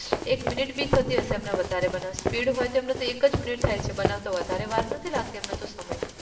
એક minute બી થતી હશે એમને વધારે બનાવ, speed હોય તો એમને તો એક જ minute થાય છે બનાવતા વધારે વાર નથી લાગતી એમને તો સમય